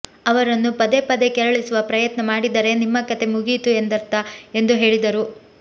ಅವರನ್ನು ಪದೇ ಪದೇ ಕೆರಳಿಸುವ ಪ್ರಯತ್ನ ಮಾಡಿದರೆ ನಿಮ್ಮ ಕತೆ ಮುಗಿಯಿತು ಎಂದರ್ಥ ಎಂದು ಹೇಳಿದರು